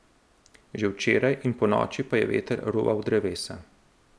Že včeraj in ponoči pa je veter ruval drevesa.